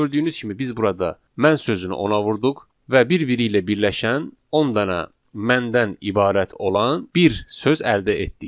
Və gördüyünüz kimi biz burada mən sözünü ona vurduq və bir-biri ilə birləşən 10 dənə məndən ibarət olan bir söz əldə etdik.